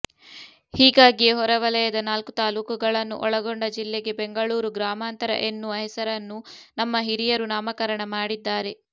ಹೀಗಾಗಿಯೇ ಹೊರವಲಯದ ನಾಲ್ಕು ತಾಲೂಕುಗಳನ್ನು ಒಳಗೊಂಡ ಜಿಲ್ಲೆಗೆ ಬೆಂಗಳೂರು ಗ್ರಾಮಾಂತರ ಎನ್ನುವ ಹೆಸರನ್ನು ನಮ್ಮ ಹಿರಿಯರು ನಾಮಕರಣ ಮಾಡಿದ್ದಾರೆ